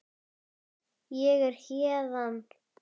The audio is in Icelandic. Ég er héðan